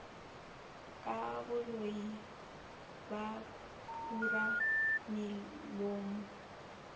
ka boloi ba kura melomo